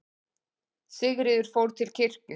Sigríður fór til kirkju.